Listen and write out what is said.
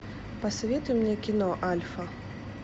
посоветуй мне кино альфа